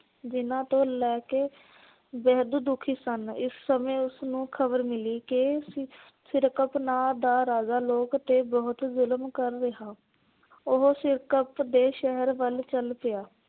ਜਿਹਨਾਂ ਤੋਂ ਲੈ ਕੇ ਬੇਹੱਦ ਦੁਖੀ ਸਨ। ਇਸ ਸਮੇਂ ਉਸ ਨੂੰ ਖ਼ਬਰ ਮਿਲੀ ਕਿ ਸਿ ਸਿਰਕਪ ਨਾ ਦਾ ਰਾਜਾਂ ਲੋਕ ਤੇ ਬੁਹਤ ਜ਼ੁਲਮ ਕਰ ਰਿਹਾ। ਉਹੋ ਸਿਰਕਪ ਦੇ ਸ਼ਹਿਰ ਵੱਲ ਚੱਲ ਪਿਆ।